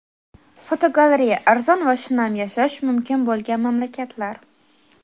Fotogalereya: Arzon va shinam yashash mumkin bo‘lgan mamlakatlar.